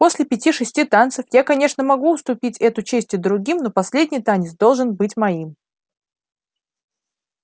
после пяти шести танцев я конечно могу уступить эту честь и другим но последний танец должен быть моим